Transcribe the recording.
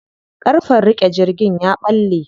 Ƙarfen riƙe jirgin ya ɓalle.